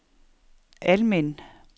Almind